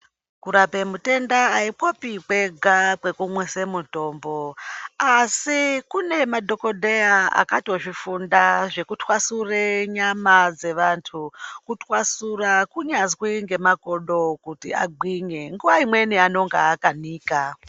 Kurape mutenda aikopi kwega kwekumwise mutombo asi kune madhokodheya akatozvifunda zvekutwasure nyama dzevantu, kutwasura kunyazwi ngemakodo kuti agwinye nguwa imweni anenge akanika.